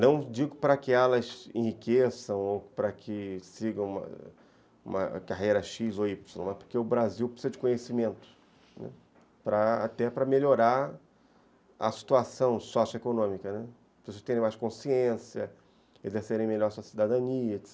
Não digo para que elas enriqueçam ou para que sigam uma carreira X ou Y, mas porque o Brasil precisa de conhecimento, até para melhorar a situação socioeconômica, né, para as pessoas terem mais consciência, exercerem melhor a sua cidadania, etc.